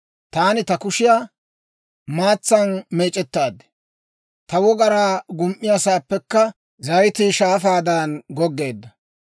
Taani ta kushiyaa maatsan meec'ettaad; ta wogaraa gum"iyaasaappekka zayitii shaafaadan goggeedda.